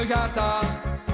hjarta